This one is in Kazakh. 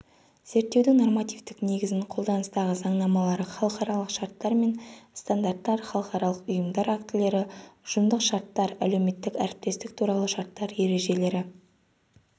зерттеудің нормативтік негізін қолданыстағы заңнамалары халықаралық шарттар мен стандарттар халықаралық ұйымдар актілері ұжымдық шарттар әлеуметтік әріптестік туралы шарттар ережелері